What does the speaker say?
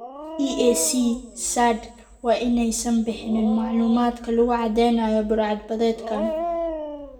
"EAC, SADC waa in aysan bixin macluumaadka lagu cadeynayo budhcad-badeedkan.